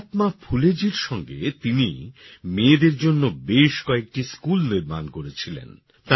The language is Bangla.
মহাত্মা ফুলেজীর সঙ্গে তিনি মেয়েদের জন্যে বেশ কয়েকটি স্কুল নির্মাণ করেছিলেন